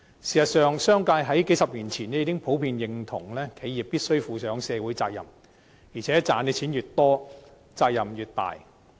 事實上，商界在數十年前已經普遍認同企業必須負上社會責任，而且賺錢越多，責任越大。